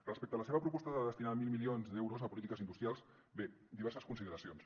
respecte a la seva proposta de destinar mil milions d’euros a polítiques industrials bé diverses consideracions